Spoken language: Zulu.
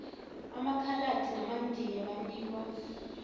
amakhaladi namandiya banikwa